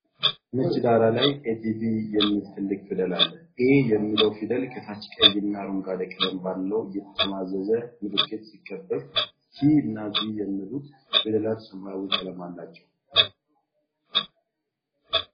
ነጭ ዳራ ላይ ATV የሚል ትልቅ ፊደል አለ። 'A' የሚለው ፊደል ከታች ቀይና አረንጓዴ ቀለም ባለው የተጠማዘዘ ምልክት ሲከበብ፣ T እና V የሚሉት ፊደላት ሰማያዊ ቀለም አላቸው።